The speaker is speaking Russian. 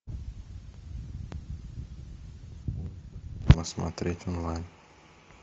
посмотреть онлайн